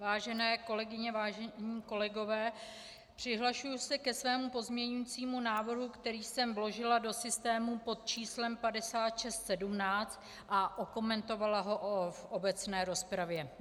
Vážené kolegyně, vážení kolegové, přihlašuji se ke svému pozměňujícímu návrhu, které jsem vložila do systému pod číslem 5617 a okomentovala ho v obecné rozpravě.